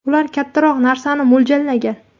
Ular kattaroq narsani mo‘ljallagan.